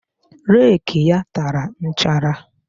Reki ya tara nchara